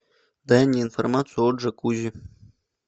дай мне информацию о джакузи